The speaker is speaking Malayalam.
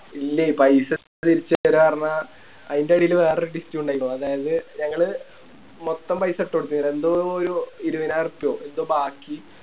ഇല്ലേ പൈസ തിരിച്ച് തേര പറഞ്ഞ ആയിൻറെടില് വേറൊരു Twist ഇണ്ടായിട്ടോ തായത് ഞങ്ങള് മൊത്തം പൈസ ഇട്ടൊടുത്തു രണ്ടോ മൂന്നോ ഇരുപനായിരർപ്പയോ എന്തോ ബാക്കി